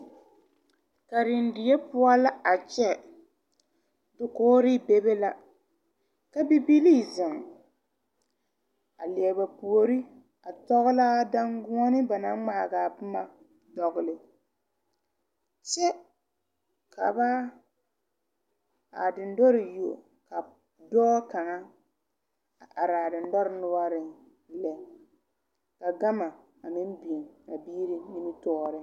Karendie poɔ la a kyɛ dokgre bebe la ka bibilii zeŋ a lie ba puore a tɔglaa danguoɔne ba naŋ ngmaagaa bomma dɔgle kyɛ ka ba kaa dendɔre yuo dɔɔ kaŋa a araa dendɔre noɔreŋ lɛ ka gama a meŋ biŋ a biire nimitooreŋ.